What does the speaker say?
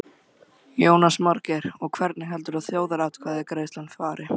Jónas Margeir: Og hvernig heldurðu að þjóðaratkvæðagreiðslan fari?